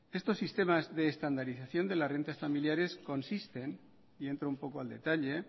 estos sistemas de estandarización de las rentas familiares consisten y entro un poco al detalle